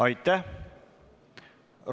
Aitäh!